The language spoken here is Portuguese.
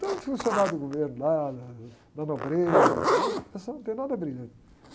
Tudo funcionário do governo lá, da, da nobreza e tal, o pessoal não tem nada brilhante.